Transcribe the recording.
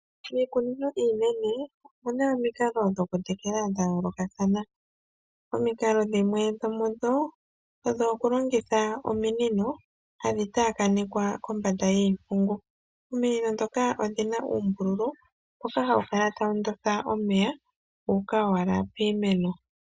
Miikunino iinene opuna omikalo dhoku tekela dha yoolokathana, omikalo dhimwe dho mudho odho okulongitha ominino hadhi tayakanekwa kombanda yiipungu, ominino dhoka odhina oombululu mboka hawu kala tawu ndonda omeya guuka owala piimeno